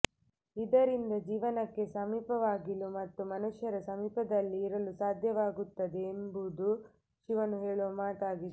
ಇದರಿಂದ ಜೀವನಕ್ಕೆ ಸಮೀಪವಾಗಿಲು ಮತ್ತು ಮನುಷ್ಯರ ಸಮೀಪದಲ್ಲಿ ಇರಲು ಸಾಧ್ಯವಾಗುತ್ತದೆ ಎಂಬುದು ಶಿವನು ಹೇಳುವ ಮಾತಾಗಿದೆ